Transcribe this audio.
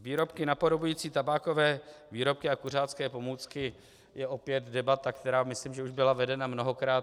Výrobky napodobující tabákové výrobky a kuřácké pomůcky je opět debata, která myslím, že už byla vedena mnohokrát.